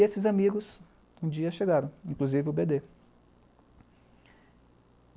E esses amigos um dia chegaram, inclusive o bê dê.